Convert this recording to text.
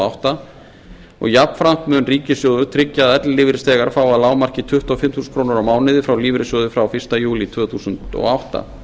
átta og jafnframt mun ríkissjóður tryggja að ellilífeyrisþegar fái að lágmarki tuttugu og fimm þúsund á mánuði frá lífeyrissjóði frá fyrsta júlí tvö þúsund og átta